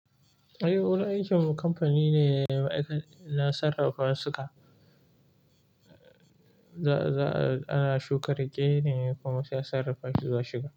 Ai wurin aikinmu kamfani ne na sarrafa wasika. Ana shuka riƙe ne kuma sai sarrafa shi ya shuga.